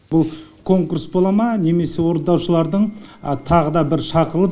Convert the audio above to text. бұл конкурс бола ма немесе орындаушылардың тағы да бір шақырылып